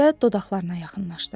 Və dodaqlarına yaxınlaşdırdı.